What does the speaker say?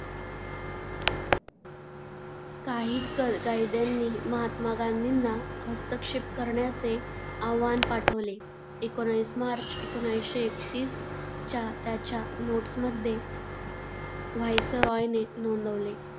काही कैद्यांनी महात्मा गांधींना हस्तक्षेप करण्याचे आवाहन पाठवले. एकोणीस मार्च एकोणीसशे एकतीसच्या त्याच्या नोट्स मध्ये, व्हाईसरॉयने नोंदवले,